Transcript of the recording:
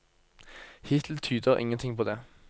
Hittil tyder ingen ting på det.